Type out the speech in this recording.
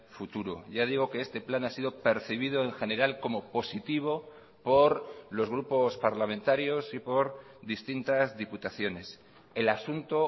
futuro ya digo que este plan ha sido percibido en general como positivo por los grupos parlamentarios y por distintas diputaciones el asunto